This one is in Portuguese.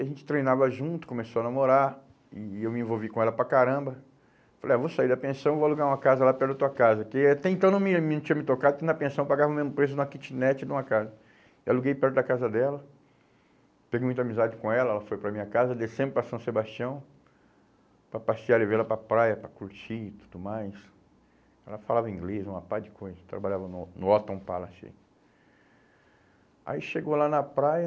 a gente treinava junto, começou a namorar e e eu me envolvi com ela para caramba falei, ah, vou sair da pensão, vou alugar uma casa lá perto da tua casa, que até então não me, me tinha me tocado, que na pensão eu pagava o mesmo preço de uma kitnet ou de uma casa, e aluguei perto da casa dela, peguei muita amizade com ela, ela foi para minha casa, descemos para São Sebastião para passear, levei ela para praia, para curtir e tudo mais, ela falava inglês, uma pá de coisa, trabalhava no no Palace aí chegou lá na praia